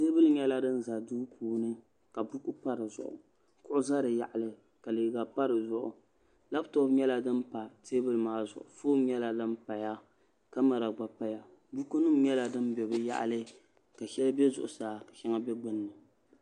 teebuli nyɛla din ʒɛ duu puuni ka buku pa dizuɣu ka kuɣu ʒɛ di yaɣali ka liiga pa dizuɣu labtop nyɛla din pa teebuli foon nyɛla din paya ka kamɛra gba paya buku nim nyɛla din bɛ bi yaɣali ka shɛli bɛ zuɣusaa ka shɛŋa bɛ gbunni